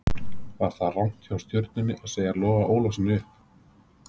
Var það rangt hjá Stjörnunni að segja Loga Ólafssyni upp?